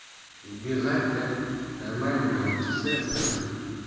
убегать да нормально научись разговаривать